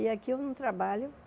E aqui eu não trabalho.